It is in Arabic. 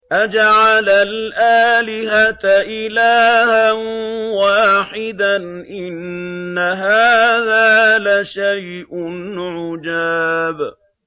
أَجَعَلَ الْآلِهَةَ إِلَٰهًا وَاحِدًا ۖ إِنَّ هَٰذَا لَشَيْءٌ عُجَابٌ